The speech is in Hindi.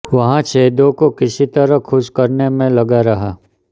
वह सैयदों को किसी तरह खुश करने में लगा रहा